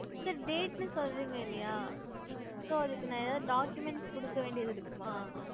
sir date னு சொல்றிங்க இல்ல யா ந அதுக்கு ஏதாவது document கொடுக்க வேண்டியது இருக்குமா